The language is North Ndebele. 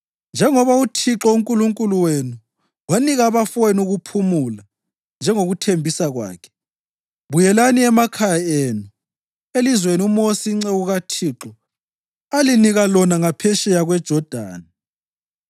Njengoba uThixo uNkulunkulu wenu wanika abafowenu ukuphumula njengokuthembisa kwakhe, buyelani emakhaya enu elizweni uMosi inceku kaThixo alinika lona ngaphetsheya kweJodani.